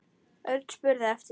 Örn spurði eftir